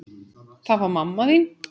Það var mamma þín.